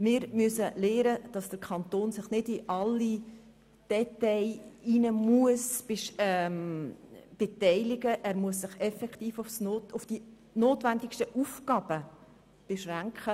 Wir müssen lernen, dass sich der Kanton nicht bei allen Details beteiligen muss, vielmehr muss er sich auf die notwendigsten Aufgaben beschränken.